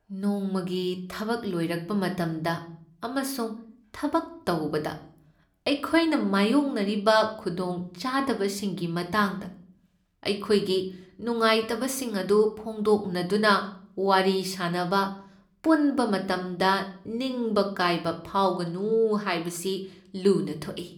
ꯅꯣꯡꯃꯒꯤ ꯊꯕꯛ ꯂꯣꯏꯔꯛꯄ ꯃꯇꯝꯗ ꯑꯃꯁꯨꯡ ꯊꯕꯛ ꯇꯧꯕꯗ ꯑꯩꯈꯣꯏꯅ ꯃꯥꯌꯣꯛꯅꯔꯤꯕ ꯈꯨꯗꯣꯡꯆꯥꯗꯕꯁꯤꯡꯒꯤ ꯃꯇꯥꯡꯗ ꯑꯩꯈꯣꯏꯒꯤ ꯅꯨꯡꯉꯥꯏꯇꯕꯁꯤꯡ ꯑꯗꯨ ꯐꯣꯡꯗꯣꯛꯅꯗꯨꯅ ꯋꯥꯔꯤ ꯁꯥꯅꯕ ꯄꯨꯟꯕ ꯃꯇꯝꯗ ꯅꯤꯡꯕ ꯀꯥꯏꯕ ꯐꯥꯎꯒꯅꯨ ꯍꯥꯏꯕꯁꯤ ꯂꯨꯅ ꯊꯣꯛꯏ ꯫